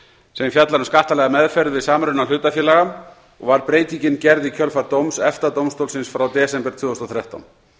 sem fjallar um skattalega meðferð við samruna hlutafélaga og var breytingin gerð í kjölfar dóms efta dómstólsins frá desember tvö þúsund og þrettán